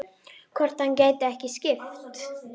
Hvort hann gæti ekki skipt?